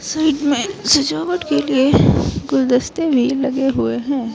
Side में सजावट के लिए गुलदस्ते भी लगे हुए हैं।